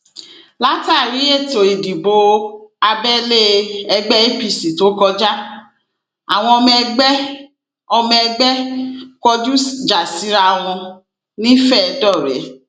látàrí ètò ìdìbò abẹlé ẹgbẹ apc tó kọjá àwọn ọmọ ẹgbẹ ọmọ ẹgbẹ kọjú ìjà síra wọn nifedore